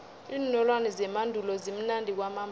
iinolwana zemandulo zimnandi kwamambala